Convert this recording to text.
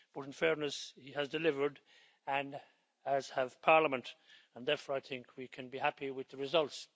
In fairness, he has delivered, as has Parliament, and therefore I think we can be happy with the results.